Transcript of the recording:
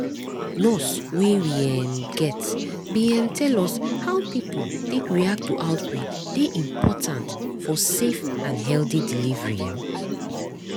nurse wey we um get bin um tell us how pipo take react to outbreak dey important for safe and healthy delivery um